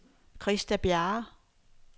Christa Bjerre